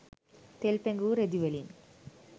තෙල් පෙඟවූ රෙදි වලින්